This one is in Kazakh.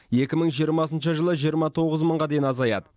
екі мың жиырмасыншы жылы жиырма тоғыз мыңға дейін азаяды